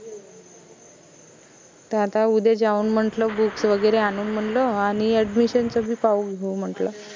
त आता उद्या जाऊन म्हंटल books वगैरे आनून म्हंनल आनि admission च बी पाहून घेऊ म्हणटलं